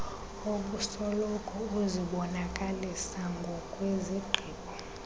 obusoloko uzibonakalisa ngokwezigqibo